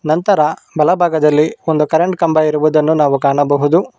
ನಂತರ ಬಲ ಭಾಗದಲ್ಲಿ ಒಂದು ಕರೆಂಟ್ ಕಂಬ ಇರುವುದನ್ನ ನಾವು ಕಾಣಬಹುದು.